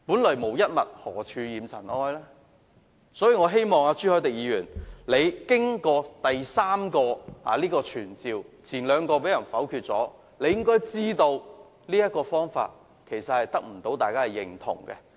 所以，經過3項傳召議案的辯論，而前兩項議案已被否決，我希望朱凱廸議員知道，這個方法無法得到大家認同。